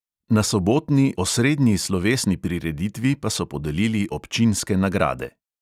Na sobotni osrednji slovesni prireditvi pa so podelili občinske nagrade.